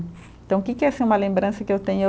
Então, que que é assim uma lembrança que eu tenho?